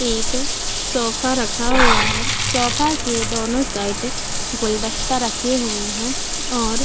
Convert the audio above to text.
एक सोफा रखा हुआ है। सोफा के दोनों साइड गुलदस्ते रखे हुए हैं और --